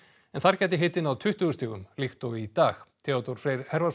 en þar gæti hiti náð tuttugu stigum líkt og í dag Theodór Freyr